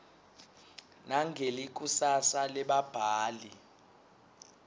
nangelikusasa lebabhali